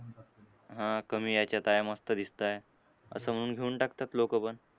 हां कमी ह्याच्यात आहे, मस्त दिसतंय असं म्हणून घेऊन टाकतात लोकं पण.